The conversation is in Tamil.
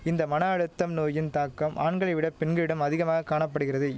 இந்த மன அழுத்தம் நோயின் தாக்கம் ஆண்களை விட பெண்களிடம் அதிகமாக காணப்படுகிறதை